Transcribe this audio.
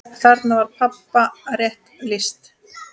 Þarna var pabba rétt lýst.